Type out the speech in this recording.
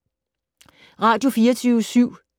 Radio24syv